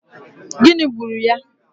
Gịnị gburu ya?